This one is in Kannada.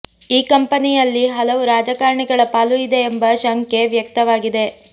ಈ ಕಂಪನಿಯಲ್ಲಿ ಹಲವು ರಾಜಕಾರಣಿಗಳ ಪಾಲು ಇದೆ ಎಂಬ ಶಂಕೆ ವ್ಯಕ್ತವಾಗಿದೆ